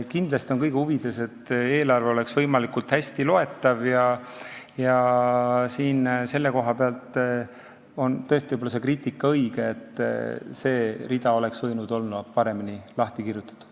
Kindlasti on kõigi huvides, et eelarve oleks võimalikult hästi loetav ja selle koha pealt on võib-olla see kriitika tõesti õige, et see rida oleks võinud olla paremini lahti kirjutatud.